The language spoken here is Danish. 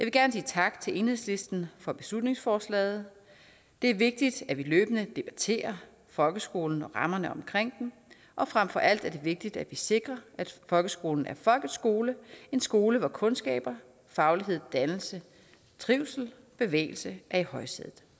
gerne sige tak til enhedslisten for beslutningsforslaget det er vigtigt at vi løbende debatterer folkeskolen og rammerne omkring den og frem for alt er det vigtigt at vi sikrer at folkeskolen er folkeskole en skole hvor kundskaber faglighed dannelse trivsel bevægelse er i højsædet